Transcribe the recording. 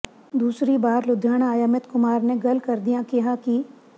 ਦੂਸਰੀ ਵਾਰ ਲੁਧਿਆਣਾ ਆਏ ਅਮਿਤ ਕੁਮਾਰ ਨੇ ਗੱਲ ਕਰਦਿਆਂ ਕਿਹਾ ਕਿ